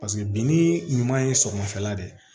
Paseke binni ɲuman ye sɔgɔmafɛla de